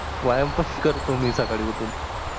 व्यायाम पण करतो मी साकडी उठून म्हणजे